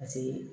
Paseke